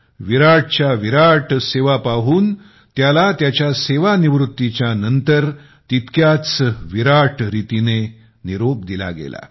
विराटच्या विराट सेवा पाहून त्याला त्याच्या सेवानिवृत्तीच्या नंतर तितक्याच विराट रीतीने निरोप दिला गेला